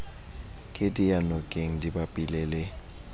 ke diyanokeng di bapile le